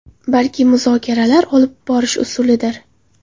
Balki muzokaralar olib borish usulidir.